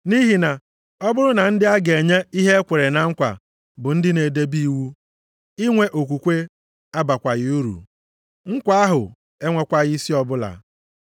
Nʼihi na, ọ bụrụ na ndị a ga-enye ihe e kwere na nkwa bụ ndị na-edebe iwu, inwe okwukwe abakwaghị uru, nkwa ahụ enwekwaghị isi ọbụla.